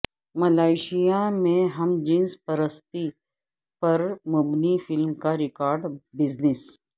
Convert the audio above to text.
Malaysia میں ہم جنس پرستی پرمبنی فلم کا ریکارڈ بزنس